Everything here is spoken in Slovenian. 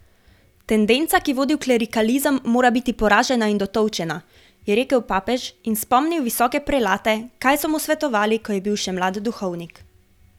Tendenca, ki vodi v klerikalizem, mora biti poražena in dotolčena, je rekel papež in spomnil visoke prelate, kaj so mu svetovali, ko je bil še mlad duhovnik.